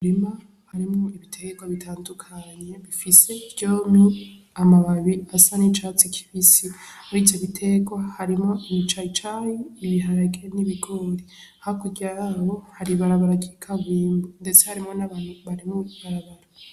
Umurima harimwo ibiterwa bitandukanye bifise vyompi amababi asa n’icatsi , murivyo biterwa harimwo imicayicayi, i biharage, n’ibigori hakurya yaho hari ibarabara ry’ikaburimbo ndetse harimwo n’abantu Bari muriryo barabara